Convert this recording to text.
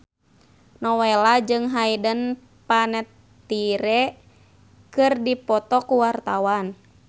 Nowela jeung Hayden Panettiere keur dipoto ku wartawan